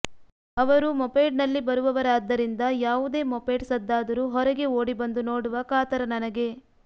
ಅವರು ಮೊಪೆಡ್ನಲ್ಲಿ ಬರುವವರಾದ್ದರಿಂದ ಯಾವುದೇ ಮೊಪೆಡ್ ಸದ್ದಾದರೂ ಹೊರಗೆ ಓಡಿ ಬಂದು ನೋಡುವ ಕಾತರ ನನಗೆ